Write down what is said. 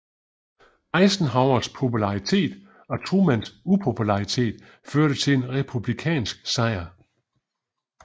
Eisenhowers popularitet og Trumans upopularitet førte til en republikansk sejr